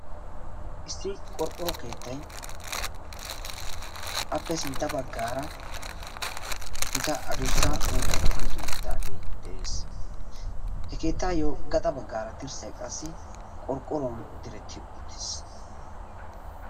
issi qorqqoro keettay appe sintta baggaara gita addussa uuttay tokketi uttidaagee beettees. he keettayyo gaxa baggaara dirssay qassi qorqqoruwan diretti uttiis.